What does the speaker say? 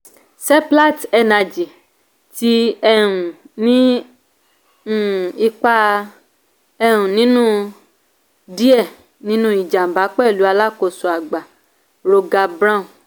seplat energy ti um ní um ipa um nínú díẹ̀ nínú ìjàmbá pẹ̀lú alákóso àgbà roger brown.